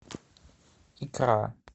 икра